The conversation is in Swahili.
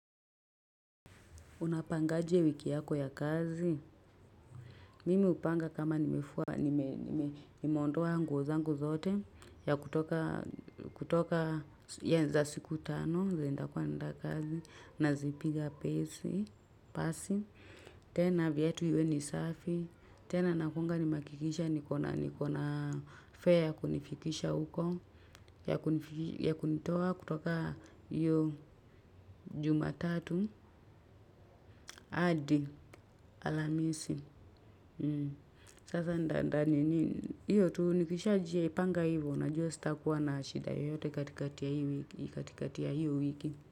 Unapangaje wiki yako ya kazi, mimi hupanga kama nimfua, nimeondoa nguo zangu zote, ya kutoka, za siku tano, zenye nitakuwa naenda kazi, nazipiga pasi, tena viatu viwe ni safi, tena nakuanga nimehakikisha nikona, fare ya kunifikisha huko ya kunitoa kutoka hio jumatatu, hadi alhamisi. Sasa nitaninii hio tu nikishajipanga hivo nitajua sitakuwa na shida yoyote katikati hio wiki.